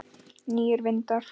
Nýir vindar?